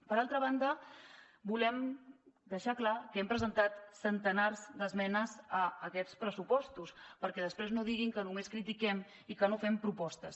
per altra banda volem deixar clar que hem presentat centenars d’esmenes a aquests pressupostos perquè després no diguin que només critiquem i que no fem propostes